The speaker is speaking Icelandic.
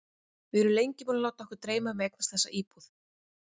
Við erum lengi búin að láta okkur dreyma um að eignast þessa íbúð.